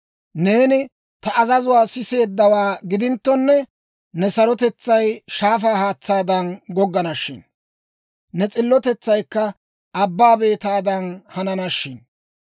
Neeni ta azazuwaa siseeddawaa gidinttonne, ne sarotetsay shaafaa haatsaadan goggana shin; ne s'illotetsaykka abbaa beetaadan hanana shin.